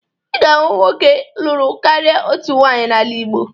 Ị ga-ahụ ụmụ nwoke lụrụ karịa otu nwaanyị n'ala Igbo